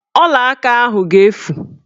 Ọlaaka ahụ ga-efu